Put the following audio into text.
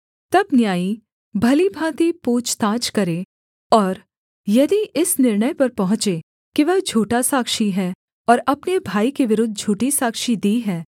तब न्यायी भली भाँति पूछताछ करें और यदि इस निर्णय पर पहुँचें कि वह झूठा साक्षी है और अपने भाई के विरुद्ध झूठी साक्षी दी है